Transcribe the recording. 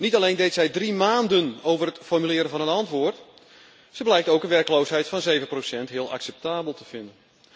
Niet alleen deed zij drie maanden over het formuleren van een antwoord, ze blijkt ook een werkloosheid van 7 heel acceptabel te vinden.